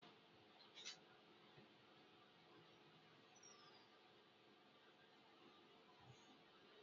Ana m aga ebe a na-adọba ụgbọala maka tiketi maka njem m.